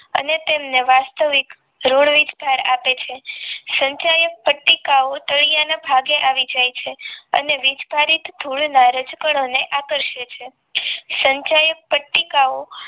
અને તેમને વાસ્તવિક ઋણ વિસ્તાર આપે છે સંખ્યાયુક્ત પટ્ટીકાઓ તળિયાના ભાગે આવી જાય છે અને વીજભારિત ધૂળના રજકણોને આકર્ષે છે સંખ્યાયુક્ત પટ્ટીકાઓ